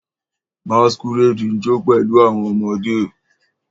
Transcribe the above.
Masquerade ń jó pẹ̀lú àwọn ọmọdé